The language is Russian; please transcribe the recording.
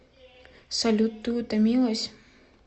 салют ты утомилась